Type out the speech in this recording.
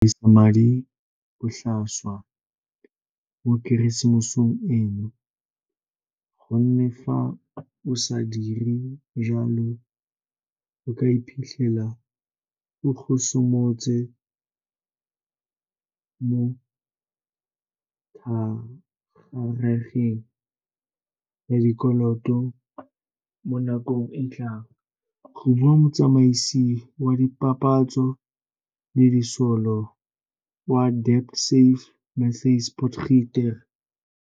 Go botoka go tila go dirisa madi botlhaswa mo Keresemoseng eno, go nne fa o sa dire jalo o ka iphitlhela o gosometse mo thagarageng ya dikoloto mo nakong e tlang, go bua motsamaisi wa dipapatso le disolo wa DebtSafe Matthys Potgieter.